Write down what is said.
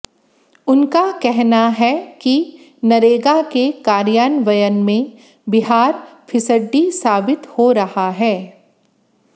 उनका कहना है कि नरेगा के कार्यान्वयन में बिहार फिसड्डी साबित हो रहा है